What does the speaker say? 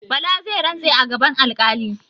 Bala zai rantse a gaban alƙali.